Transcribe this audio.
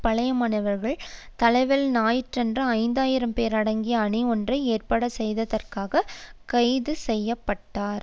பழைய மாணவர் தலைவர் ஞாயிறன்று ஐந்து ஆயிரம் பேர் அடங்கிய அணி ஒன்றை ஏற்பாடு செய்ததற்காக கைது செய்ய பட்டார்